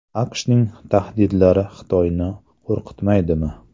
AQShning tahdidlari Xitoyni qo‘rqitmaydimi?